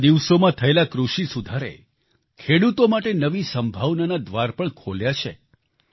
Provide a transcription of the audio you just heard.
વિતેલા દિવસોમાં થયેલા કૃષિ સુધારે ખેડૂતો માટે નવી સંભાવનાના દ્વાર પણ ખોલ્યા છે